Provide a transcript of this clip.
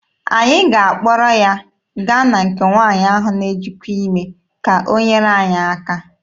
Anyị ga-akpọrọ ya gaa na nke nwaanyị ahụ na-ejikwa ime ka o nyere anyị aka.